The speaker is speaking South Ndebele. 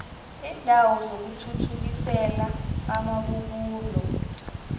iindawo zokuthuthukisela amabubulo